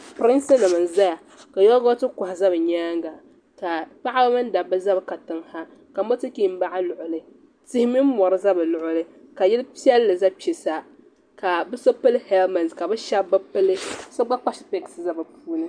Piriŋsinim n zaya ka yoogooti kɔha za bɛ nyaaŋa ka paɣaba mini dabba za katiŋ sa ka motokin baɣi luɣuli tihi mini mɔri za bɛ luɣuli ka yili piɛlli za kpe sa ka bɛ so pili heliment ka bɛ shɛbi bi pili so gba kpa sipiɛsi n za bɛ puuni.